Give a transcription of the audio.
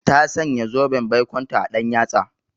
Ta sanya zoben baikonta a ɗan yatsa.